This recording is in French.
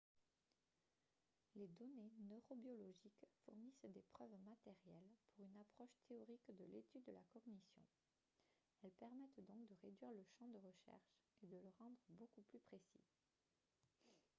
les données neurobiologiques fournissent des preuves matérielles pour une approche théorique de l'étude de la cognition elles permettent donc de réduire le champ de recherche et de le rendre beaucoup plus précis